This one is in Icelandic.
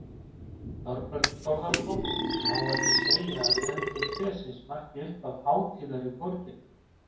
Þorbjörn Þórðarson: Má ekki segja að tendrun trésins marki upphaf hátíðar í borginni?